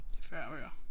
Det 40 bøger